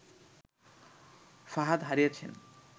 ফাহাদ হারিয়েছেন